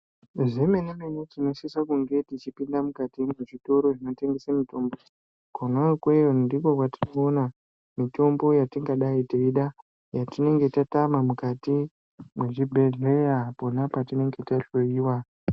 Zvemene mene tinosisa kunge tichipinda mukati mwezvitoro zvinotengese mitombo kona ikweyo ndiko kwatiri kuona mitombo yatingadei teida yatinenge tatama mukati mwezvibhedhleya pona patinenge tahloyiwa.